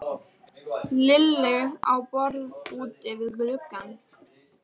Lillu á borð úti við gluggann.